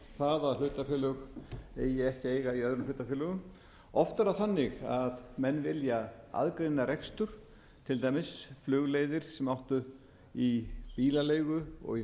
eiga í öðrum hlutafélögum oft er það þannig að menn vilja aðgreina rekstur til dæmis flugleiðir sem áttu í bílaleigu og í hótelkeðju